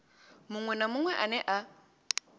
muṅwe na muṅwe ane a